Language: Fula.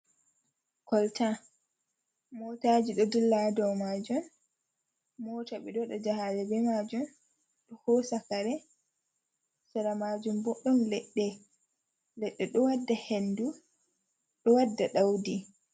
Kolta mootaaji ɗo dilla haa dow maajum, moota ɓe ɗo waɗa jahaale be maajum, ɗo hoosa kare, sera maajum bo ɗon leɗɗe, leɗɗe ɗo wadda henndu, ɗo wadda ɗawdi.